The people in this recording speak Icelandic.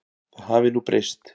Það hafi nú breyst.